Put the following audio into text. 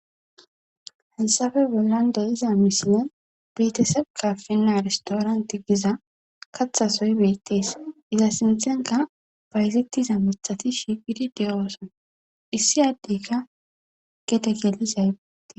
Hessafe bollan de'iza misilen bitisebi kafina ristooranti giza kaththasoy beettees iza sinththenka baysettiza miiththati shigidi de'oosona issi addeyka gede gelizay beettees